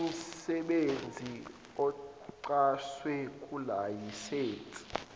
imsebenzi ochazwe kulayisense